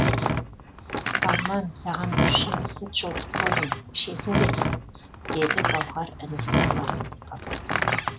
арман саған бір шыны сүт жылытып қойдым ішесің бе деді гауһар інісінің басын сипап